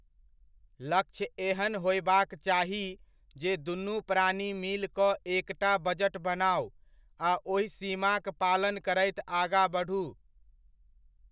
लक्ष्य ऐहन होयबाक चाही जे दुनु प्राणी मिल कऽ एकटा बजट बनाउ आ ओहि सीमाक पालन करैत आगा बढु।